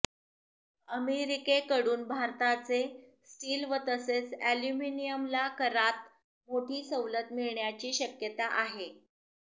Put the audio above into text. अमेरिकेकडून भारताचे स्टील तसेच ऍल्युमिनियमला करात मोठी सवलत मिळण्याची शक्यता आहे